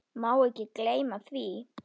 Má ekki gleyma því.